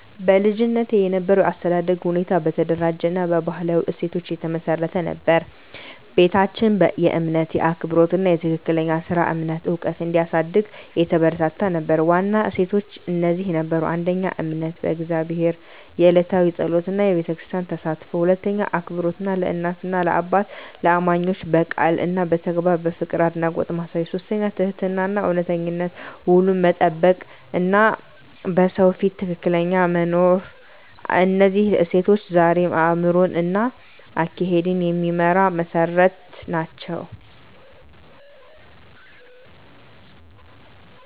በልጅነቴ የነበረው የአስተዳደግ ሁኔታ በተደራጀ እና በባህላዊ እሴቶች የተመሰረተ ነበር። ቤታችን የእምነት፣ የአክብሮት እና የትክክለኛ ሥራ እምነት ዕውቀት እንዲያሳድግ የተባበረ ነበር። ዋና እሴቶች እነዚህ ነበሩ: 1. እምነት በእግዚአብሔር፣ የዕለታዊ ጸሎት እና በቤተክርስቲያን ተሳትፎ። 2. አክብሮት ለእናት፣ ለአባትና ለእማኞች፣ በቃል እና በተግባር ፍቅርና አድናቆት ማሳየት። 3. ትህትናና እውነተኝነት፣ ውሉን መጠበቅ እና በሰው ፊት ትክክል መኖር። እነዚህ እሴቶች ዛሬም አእምሮዬን እና አካሄዴን የሚመራ መሠረት ናቸው።